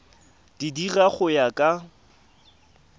di dira go ya ka